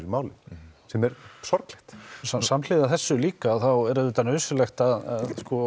málum sem er sorglegt samhliða þessu líka þá er auðvitað nauðsynlegt að